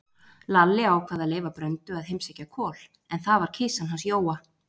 Lalli ákvað að leyfa Bröndu að heimsækja Kol, en það var kisan hans Jóa.